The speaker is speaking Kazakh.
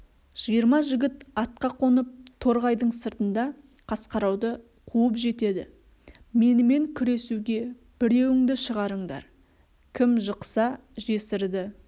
жиырма жігіт атқа қонып торғайдың сыртында қасқарауды қуып жетеді менімен күресуге біреуіңді шығарыңдар кім жықса жесірді